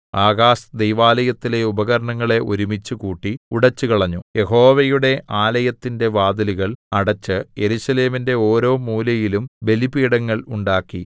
Ahaz ദൈവാലയത്തിലെ ഉപകരണങ്ങളെ ഒരുമിച്ച് കൂട്ടി ഉടച്ചുകളഞ്ഞു യഹോവയുടെ ആലയത്തിന്റെ വാതിലുകൾ അടച്ച് യെരൂശലേമിന്റെ ഓരോ മൂലയിലും ബലിപീഠങ്ങൾ ഉണ്ടാക്കി